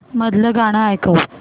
मधलं गाणं ऐकव